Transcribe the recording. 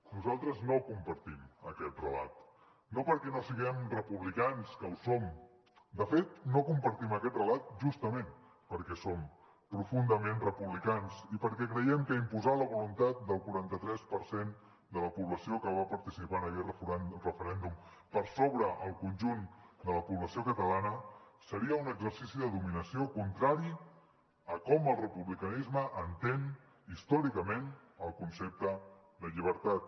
nosaltres no compartim aquest relat no perquè no siguem republicans que ho som de fet no compartim aquest relat justament perquè som profundament republicans i perquè creiem que imposar la voluntat del quaranta tres per cent de la població que va participar en aquell referèndum per sobre el conjunt de la població catalana seria un exercici de dominació contrari a com el republicanisme entén històricament el concepte de lli bertat